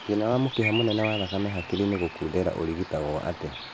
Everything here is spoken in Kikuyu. Thĩna wa mũkiha mũnene wa thakame hakiri-inĩ gũkundera ũrigitagwo atĩa